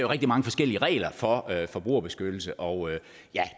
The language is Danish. rigtig mange forskellige regler for forbrugerbeskyttelse og